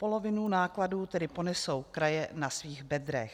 Polovinu nákladů tedy ponesou kraje na svých bedrech.